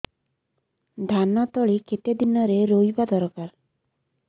ଧାନ ତଳି କେତେ ଦିନରେ ରୋଈବା ଦରକାର